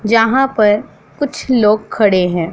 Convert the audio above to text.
जहां पर कुछ लोग खड़े हैं।